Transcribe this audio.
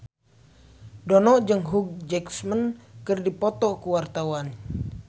Dono jeung Hugh Jackman keur dipoto ku wartawan